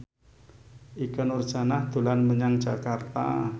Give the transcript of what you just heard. Ikke Nurjanah dolan menyang Jakarta